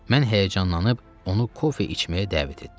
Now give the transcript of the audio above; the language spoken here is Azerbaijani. Mən həyəcanlanıb onu kofe içməyə dəvət etdim.